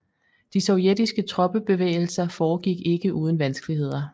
De sovjetiske troppebevægelser foregik ikke uden vanskeligheder